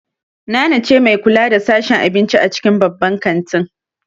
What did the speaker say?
Nana ce mai kula da sashen abinci a cikin babban kantin.